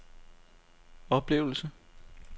oplevelse